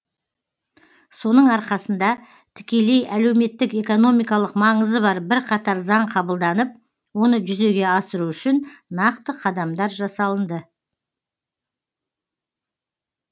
соның арқасында тікелей әлеуметтік экономикалық маңызы бар бірқатар заң қабылданып оны жүзеге асыру үшін нақты қадамдар жасалынды